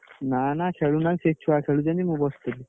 ନା ନା ଖେଳୁ ନାଇଁ ସେ ଛୁଆ ଖେଳୁଛନ୍ତି ମୁଁ ବସି ଦେଖୁଛି।